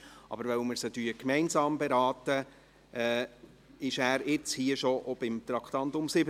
Weil wir diese Traktanden gemeinsam beraten, ist er bereits bei der Beratung des Traktandums 7 dabei.